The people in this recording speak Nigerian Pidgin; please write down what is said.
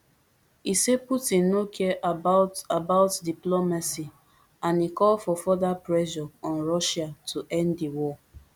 e say putin no care about about diplomacy and e call for further pressure on russia to end di war